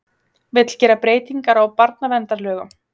Vill gera breytingar á barnaverndarlögum